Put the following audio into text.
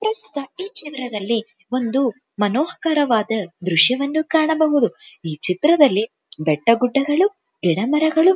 ಪ್ರಸ್ತುತ ಈ ಚಿತ್ರದಲ್ಲಿ ಒಂದು ಮನೋಹರಕರವಾದ ದೃಶ್ಯವನ್ನು ಕಾಣಬಹುದು ಈ ಚಿತ್ರದಲ್ಲಿ ಬೆಟ್ಟ ಗುಡ್ಡಗಳು ಗಿಡ ಮರಗಳು --